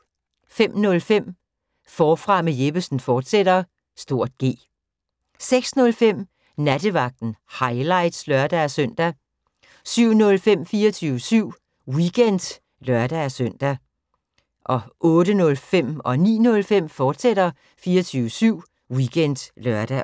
05:05: Forfra med Jeppesen fortsat (G) 06:05: Nattevagten – highlights (lør-søn) 07:05: 24syv Weekend (lør-søn) 08:05: 24syv Weekend, fortsat (lør-søn) 09:05: 24syv Weekend, fortsat (lør-søn)